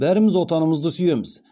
бәріміз отанымызды сүйеміз